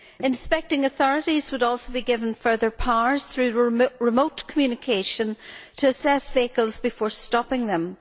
Inspecting authorities would also be given further powers through remote communication to assess vehicles before stopping them.